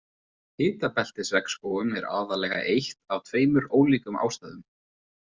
Hitabeltisregnskógum er aðallega eytt af tveimur ólíkum ástæðum.